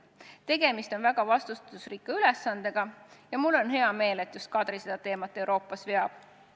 Tegemist on väga vastutusrikka ülesandega ja mul on hea meel, et just Kadri seda teemat Euroopas veab.